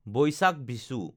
বৈশাক বিচু